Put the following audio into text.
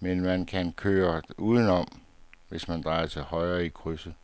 men man kan køre udenom, hvis man drejer til højre i krydset.